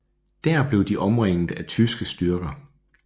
Der blev de omringet af tyske styrker